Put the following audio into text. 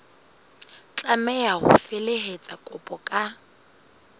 tlameha ho felehetsa kopo ka